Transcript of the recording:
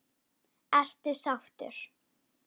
Ertu sáttur?